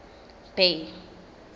bay